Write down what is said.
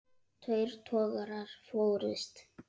Tveir togarar fórust.